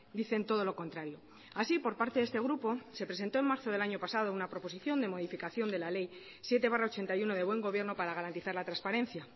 dicen todo lo contrario así por parte de este grupo se presentó en marzo del año pasado una proposición de modificación de la ley siete barra ochenta y uno de buen gobierno para garantizar la transparencia